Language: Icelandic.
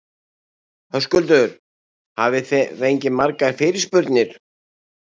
Höskuldur: Hafið þið fengið margar fyrirspurnir?